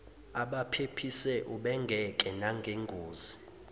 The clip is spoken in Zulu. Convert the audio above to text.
abaphephise ubengeke nangengozi